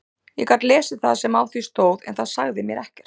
Ég gat lesið það sem á því stóð en það sagði mér ekkert.